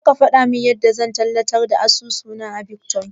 Ko zaka gwada mun yanda zan tallata asusuna na bitkwain